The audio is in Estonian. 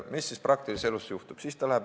Mis siis aga praktilises elus juhtub?